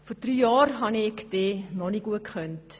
Vor drei Jahren habe ich dich noch nicht gut gekannt.